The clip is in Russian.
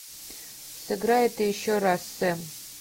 сыграй это еще раз сэм